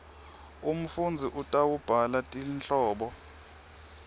umfundzi utawubhala tinhlobo